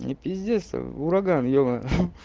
и пиздец ураган ебано